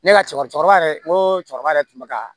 Ne ka cɛkɔrɔba yɛrɛ n ko cɛkɔrɔba yɛrɛ tun bɛ ka